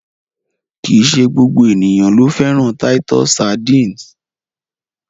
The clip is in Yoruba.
Kìí ṣe gbogbo ènìyàn ló fẹ́ràn titus sardines.